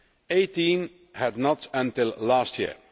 Eighteen had not until last year.